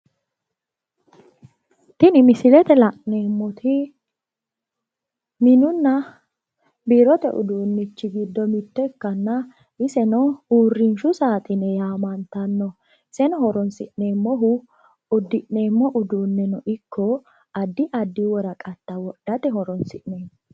Tini misilete la'neemoti minunna biirote uduunich giddo mitto ikkana iseno uurrinshu saaxine yaamantanno iseno horoonsi'neemmohu uddi'neemo uduuneno ikko addi addi woraqata whoddate horoonsi'neemmo.